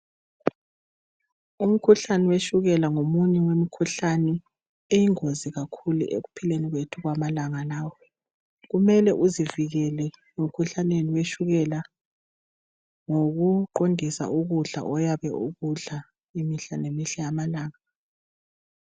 Umkhuhlane wetshukela ngomunye wemimkhuhlane eyingozi kakhulu ekuphileni kwethu kwamalanga lawa, kumele uzivikele emkhuhlaneni wetshukela ngokuqondisa ukudla oyabe ukudla imihla ngemihla yamalanga.